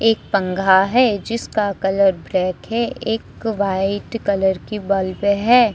एक पंघा है जिसका कलर ब्लैक है एक व्हाइट कलर की बल्ब है।